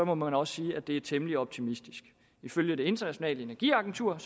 må man også sige at det er temmelig optimistisk ifølge det internationale energiagentur